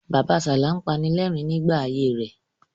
Bàbasalá ń panilẹ́rìn-rín nígbà ayé fẹ.